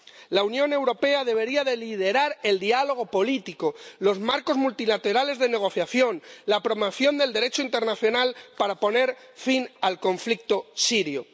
La Unión Europea debería liderar el diálogo político, los marcos multilaterales de negociación, la promoción del Derecho internacional, para poner fin al conflicto sirio.